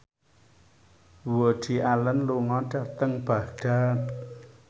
Woody Allen lunga dhateng Baghdad